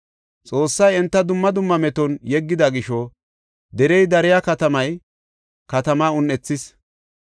Xoossay enta dumma dumma meton yeggida gisho derey deriya, katamay katamaa un7ethees.